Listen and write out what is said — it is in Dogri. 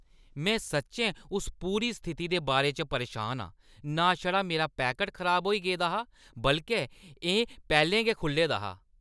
में सच्चैं इस पूरी स्थिति दे बारे च परेशान आं। ना छड़ा मेरा पैकट खराब होई गेदा हा, बल्के एह् पैह्‌लें गै खु'ल्ले दा हा!